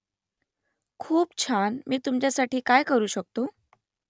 खूप छान मी तुमच्यासाठी काय करू शकतो ?